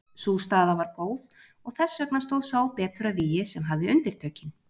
Sú staða var góð og þess vegna stóð sá betur að vígi sem hafði undirtökin.